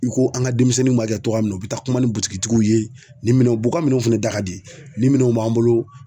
I ko an ka denmisɛnninw ma kɛ cogoya min na ,u bɛ taa kuma ni butigitigiw ye ni minɛnw uka minɛnw fɛnɛ da ka di ni minɛnw b'an bolo.